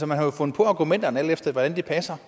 man har jo fundet på argumenterne alt efter hvordan de passer